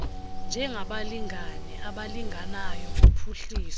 njengabalingane abalinganayo kuphuhliso